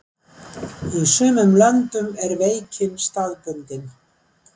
í sumum löndum er veikin staðbundin